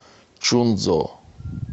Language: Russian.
чунцзо